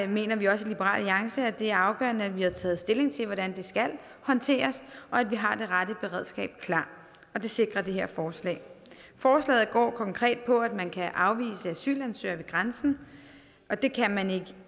mener vi også i liberal alliance at det er afgørende at vi har taget stilling til hvordan det skal håndteres og at vi har det rette beredskab klar og det sikrer det her forslag forslaget går konkret på at man kan afvise asylansøgere ved grænsen og det kan man ikke